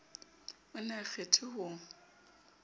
o ne o kgethwe ho